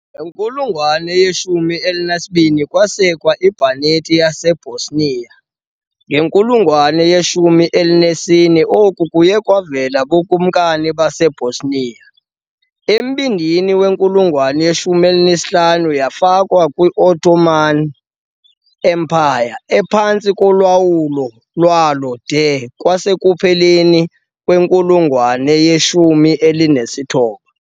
Ngenkulungwane ye-12, kwasekwa iBanate yaseBosnia, ngenkulungwane ye-14, oku kuye kwavela kuBukumkani baseBosnia . Embindini wenkulungwane ye-15, yafakwa kwi- Ottoman Empire, ephantsi kolawulo lwalo de kwasekupheleni kwenkulungwane ye-19.